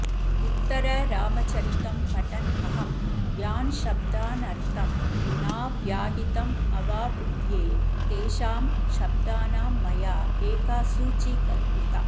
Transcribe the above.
उत्तररामचरितं पठन्नहं यान् शब्दानर्थं नाव्याहितमवाबुध्ये तेषां शब्दानां मया एका सूची कल्पिता